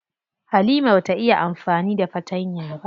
Halima bata iya amfani da fatanya ba.